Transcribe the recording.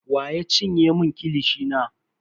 Wa ya cinye mun kilishi na?